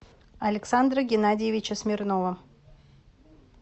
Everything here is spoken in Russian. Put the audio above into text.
александра геннадьевича смирнова